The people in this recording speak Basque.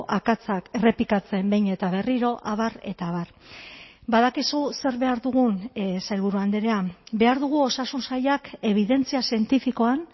akatsak errepikatzen behin eta berriro abar eta abar badakizu zer behar dugun sailburu andrea behar dugu osasun sailak ebidentzia zientifikoan